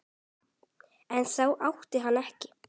En það átti hann ekki.